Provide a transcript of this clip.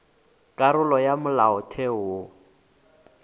karolo ya ya molaotheo wo